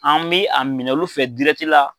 An mɛ a minɛ olu fɛ la.